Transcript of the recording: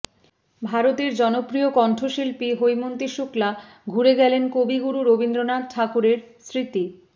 ভারতের জনপ্রিয় কণ্ঠশিল্পী হৈমন্তী শুক্লা ঘুরে গেলেন কবিগুরু রবীন্দ্রনাথ ঠাকুরের স্মৃতি